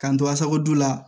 K'an to asakoju la